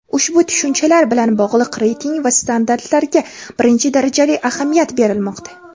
ushbu tushunchalar bilan bog‘liq reyting va standartlarga birinchi darajali ahamiyat berilmoqda.